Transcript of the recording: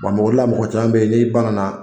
mɔgɔ caman bɛ yen n'i banana